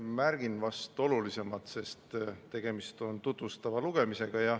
Märgin vast olulisimat, sest tegemist on tutvustava lugemisega.